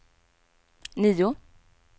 nio